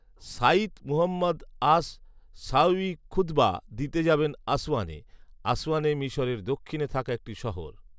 শাইখ Muhammad as Sawi খুতবা দিতে যাবেন আসওয়ানে। আসওয়ানে মিশরের দক্ষিণে থাকা একটি শহর